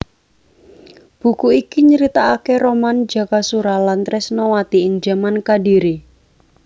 Buku iki nyritaaké roman Jakasura lan Tresnawati ing jaman Kadhiri